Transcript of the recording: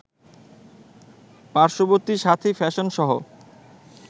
পার্শ্ববর্তী সাথী ফ্যাশনসহ